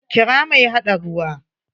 Kira mai haɗa ruwa!